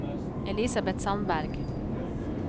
Elisabet Sandberg